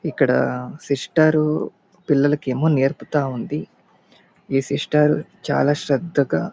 ఇక్కడ సిస్టరు పిల్లలకేమో నేర్పుతా ఉంది. ఈ సిస్టర్ చాలా శ్రద్దగా --